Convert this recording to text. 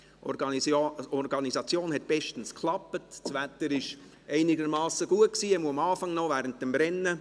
Die Organisation klappte bestens, das Wetter war einigermassen gut, jedenfalls noch am Anfang während des Rennens;